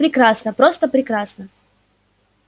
прекрасно просто прекрасно